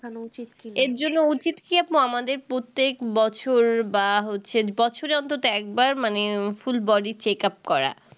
এর জন্য উচিত কি আপু আমাদের প্রত্যেক বছর বা হচ্ছে বছরে অন্তত একবার মানে full body check up করা